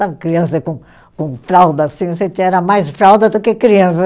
Sabe, criança com com fralda assim, era mais fralda do que criança.